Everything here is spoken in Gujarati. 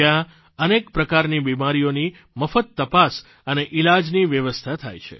જયાં અનેક પ્રકારની બિમારીઓની મફત તપાસ અને ઇલાજની વ્યવસ્થા થાય છે